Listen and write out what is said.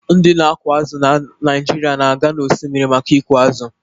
Ndị na-akụ azụ̀ na Naijiria na-aga n’osimiri maka ịkụ azụ̀